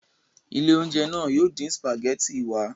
Ilé-oúnjẹ náà yóò dín sìpàgẹ́tì wa.